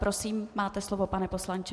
Prosím, máte slovo, pane poslanče.